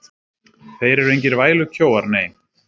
Þeir eru engir vælukjóar, nei.